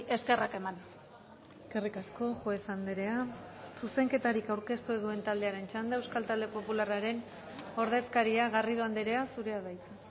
eskerrak eman eskerrik asko juez andrea zuzenketarik aurkeztu ez duen taldearen txanda euskal talde popularraren ordezkaria garrido andrea zurea da hitza